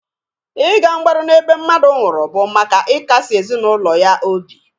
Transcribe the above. Ị ga mgbaru n'ebe mmadụ nwụrụ bụ maka ị kasị ezinụlọ ya obi.